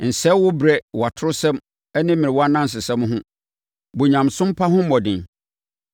Nsɛe wo berɛ wɔ atorɔsɛm ne mmerewa anansesɛm ho. Bɔ onyamesompa ho mmɔden.